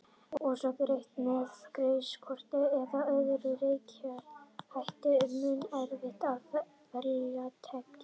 Sé greitt með greiðslukorti eða öðrum rekjanlegum hætti er mun erfiðara að fela tekjurnar.